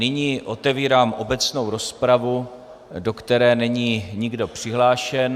Nyní otevírám obecnou rozpravu, do které není nikdo přihlášen.